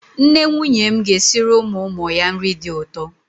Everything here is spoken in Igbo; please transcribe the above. Nne nwunye m ga-esiri ụmụ ụmụ ya nri dị ụtọ.